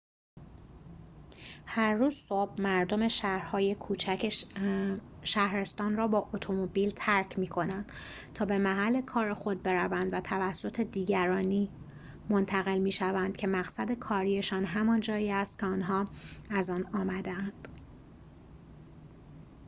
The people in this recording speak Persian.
هر روز صبح مردم شهرهای کوچک شهرستان را با اتومبیل ترک می‌کنند تا به محل کار خود بروند و توسط دیگرانی منتقل می‌شوند که مقصد کاری‌شان همان جایی است که آنها از آن آمده‌اند